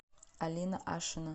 алина ашина